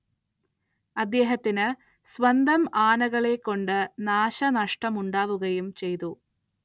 അദ്ദേഹത്തിന്‌ സ്വന്തം ആനകളെകൊണ്ട് നാശനഷ്ടമുണ്ടാവുകയും ചെയ്തു.